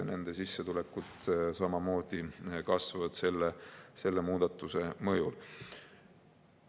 Nende sissetulekud samamoodi kasvavad selle muudatuse mõjul.